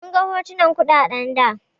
Mun ga hotunan kuɗaɗen da.